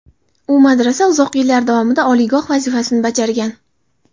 U madrasa uzoq yillar davomida oliygoh vazifasini bajargan.